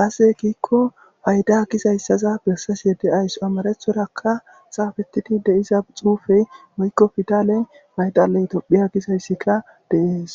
aasey kiikko fayda gizayssaza bessasu yede ays amarethorakka saafettidi deiza xuufey woykko fidaley paydaley tophiya gizayssika deees